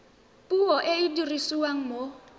puo e e dirisiwang mo